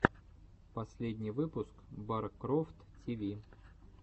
последний выпуск баркрофт ти ви